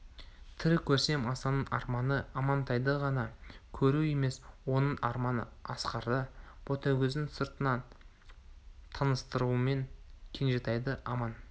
тірі көрсем асанның арманы амантайды ғана көру емес оның арманы асқарды ботагөздің сырттан таныстыруымен кенжетайды аман